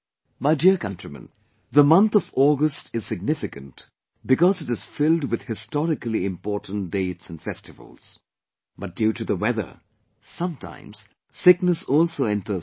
My dear countrymen, the month of August is significant because it is filled with historically important dates and festivals, but due to the weather sometimes sickness also enters the house